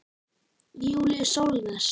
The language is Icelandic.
Júlíus Sólnes.